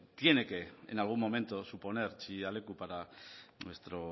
tiene que en algún momento que suponer chillida leku para nuestro